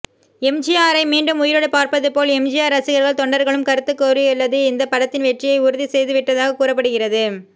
எம்ஜிஆரையே மீண்டும் உயிரோடு பார்ப்பதுபோல் எம்ஜிஆர் ரசிகர்கள் தொண்டர்களும் கருத்து கூறியுள்ளது இந்த படத்தின் வெற்றியை உறுதி செய்துவிட்டதாக கூறப்படுகிறது